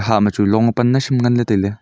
ha ma chu long a pan nai sem ngan ley tailey.